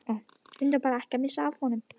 Reyndu bara að missa ekki af honum.